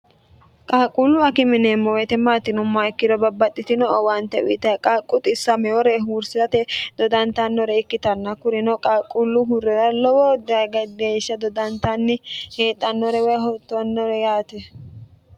qaaqquullu akime yineemmo weete maati yinummoha ikkiro babbaxxitino owaante uyitay qaaqqu xisamewore huursirate dodantannore ikkitanna kurino qaaqquullu hurrera lowo geeshsha dodantanni heexxannore woy hotoonnore yaate